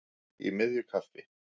Í miðju kafi